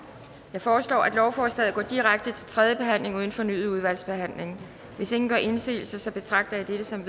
jeg foreslår at lovforslaget går direkte til tredje behandling uden fornyet udvalgsbehandling hvis ingen gør indsigelse betragter jeg dette som